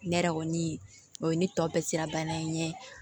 Ne yɛrɛ kɔni o ye ne tɔ bɛɛ sira bana in ɲɛ